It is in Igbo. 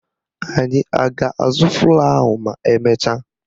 Anyị a ga-azụ flọ́ọ̀ ahụ ma emecha?